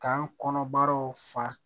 K'an kɔnɔbaraw fa